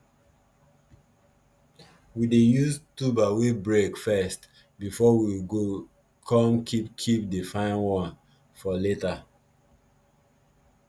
we dey use tuber wey break first before we go come keep keep the fine one for later